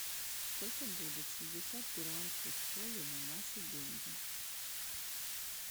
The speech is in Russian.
сколько будет шестьдесят перуанских солей на наши деньги